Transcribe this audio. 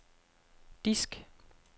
disk